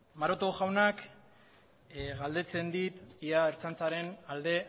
maroto jaunak galdetzen dit ea ertzaintzaren alde